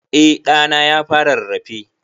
Eh ɗa na ya fara rarrafe.